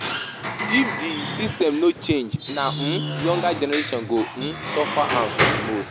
If di system no change, na um younger generation go um suffer am di most.